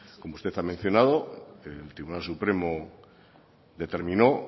como usted ha mencionado el tribunal supremo determinó